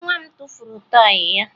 Nwa m tụfuru tọọyị ya